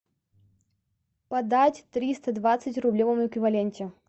подать триста двадцать в рублевом эквиваленте